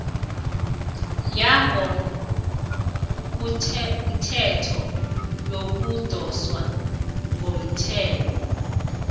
yangokothetho yokudoswa komthelo